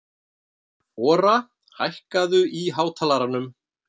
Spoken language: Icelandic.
Ora, hækkaðu í hátalaranum.